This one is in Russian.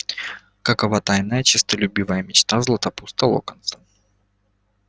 какова тайная честолюбивая мечта златопуста локонса